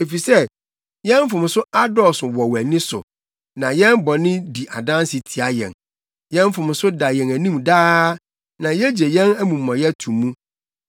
Efisɛ, yɛn mfomso adɔɔso wɔ wʼani so, na yɛn bɔne di adanse tia yɛn. Yɛn mfomso da yɛn anim daa, na yegye yɛn amumɔyɛ to mu: